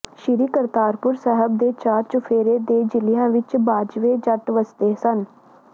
ਸ੍ਰੀ ਕਰਤਾਰਪੁਰ ਸਾਹਿਬ ਦੇ ਚਾਰ ਚੁਫ਼ੇਰੇ ਦੇ ਜ਼ਿਲ੍ਹਿਆਂ ਵਿਚ ਬਾਜਵੇ ਜੱਟ ਵਸਦੇ ਸਨ